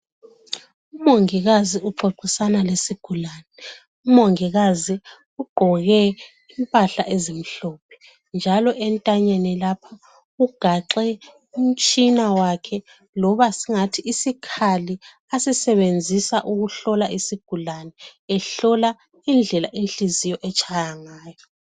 Umongikazi uxoxisana lesigulane. Umongikazi ugqoke impahla ezimhlophe njalo entanyeni lapha ugaxe umtshina wakhe loba singathi isikhali asisebenzisa ukuhlola isigulane ehlola indlela inhliziyo etshaya ngayo.